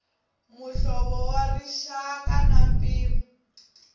muhlovo wa rixaka na mpimo